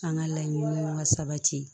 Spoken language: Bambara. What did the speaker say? An ka laɲiniw ka sabati